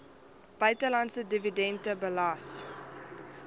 buitelandse dividende belas